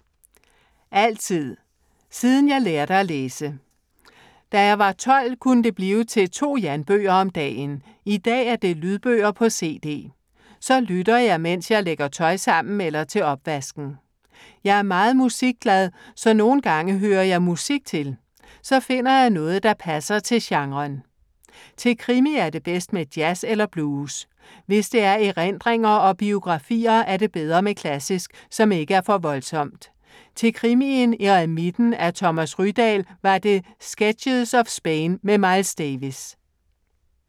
Altid. Siden jeg lærte at læse. Da jeg var 12 kunne det blive til to Jan-bøger om dagen. I dag er det lydbøger på CD. Så lytter jeg, mens jeg lægger tøj sammen eller til opvasken. Jeg er meget musikglad, så nogen gange hører jeg musik til. Så finder jeg noget, der passer til genren. Til krimi er det bedst med jazz eller blues. Hvis det er erindringer og biografier er det bedre med klassisk, som ikke er for voldsomt. Til krimien Eremitten af Thomas Rydahl var det Sketches of Spain med Miles Davis.